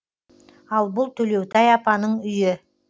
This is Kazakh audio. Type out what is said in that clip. ал бұл төлеутай апаның үйі